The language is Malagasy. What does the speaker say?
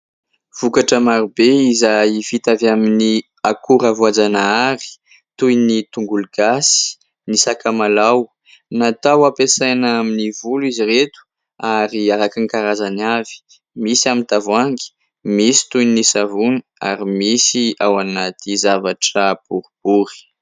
Vokatra marobe izay vita avy amin'ny akora voajanahary toy : ny tongolo gasy, ny sakamalaho, natao hampiasaina amin'ny volo izy ireto ary araka ny karazany avy, misy amin'ny tavoahangy, misy toy ny savony ary misy ao anaty zavatra boribory.